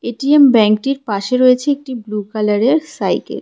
ATM ব্যাংকটির পাশে রয়েছে একটি ব্লু কালারের সাইকেল ।